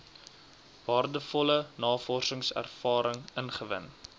waardevolle navorsingservaring ingewin